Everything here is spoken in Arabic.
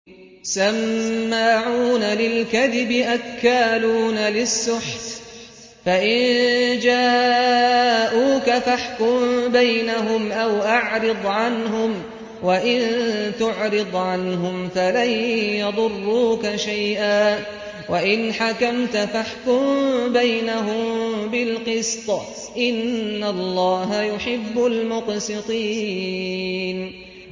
سَمَّاعُونَ لِلْكَذِبِ أَكَّالُونَ لِلسُّحْتِ ۚ فَإِن جَاءُوكَ فَاحْكُم بَيْنَهُمْ أَوْ أَعْرِضْ عَنْهُمْ ۖ وَإِن تُعْرِضْ عَنْهُمْ فَلَن يَضُرُّوكَ شَيْئًا ۖ وَإِنْ حَكَمْتَ فَاحْكُم بَيْنَهُم بِالْقِسْطِ ۚ إِنَّ اللَّهَ يُحِبُّ الْمُقْسِطِينَ